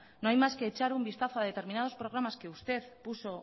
no hay más que echar un vistazo a determinados programas que usted puso